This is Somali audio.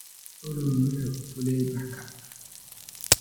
olly wuxuu fuulay baarka